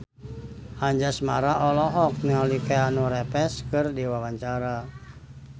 Anjasmara olohok ningali Keanu Reeves keur diwawancara